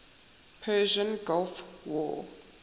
persian gulf war